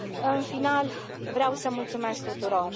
În final, vreau să mulțumesc tuturor.